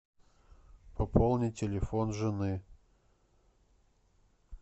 пополни телефон жены